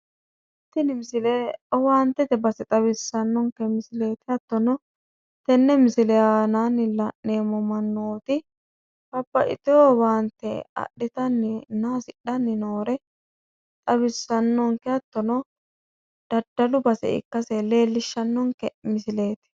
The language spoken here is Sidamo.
tini misile owaantete base xawissannonke misileeti hattono tenne misile aanaanni la'neemmo mannooti babaxitewo owaante adhitanninna hasidhanno noore xawissannonke hattono dadalu base ikkase leellishshannonke misileeti.